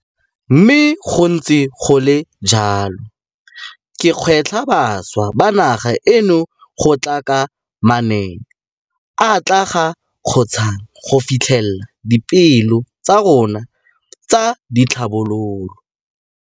Mme go ntse go le jalo, ke gwetlha bašwa ba naga eno go tla ka manaane a a tla re kgontshang go fitlhelela dipeelo tsa rona tsa tlhabololo.